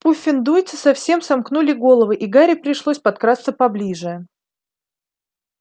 пуффендуйцы совсем сомкнули головы и гарри пришлось подкрасться поближе